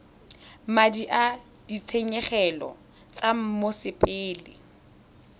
madi a ditshenyegelo tsa mosepele